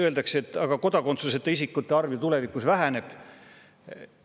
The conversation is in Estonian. Öeldakse, et kodakondsuseta isikute arv ju tulevikus väheneb.